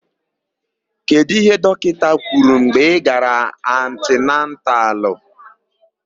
Kedụ íhé dọkịta kwuru mgbe ị gara antinantalụ?